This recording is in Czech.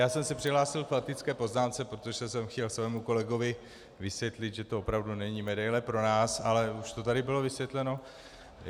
Já jsem se přihlásil k faktické poznámce, protože jsem chtěl svému kolegovi vysvětlit, že to opravdu není medaile pro nás, ale už to tady bylo vysvětleno.